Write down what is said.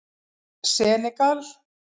Senegal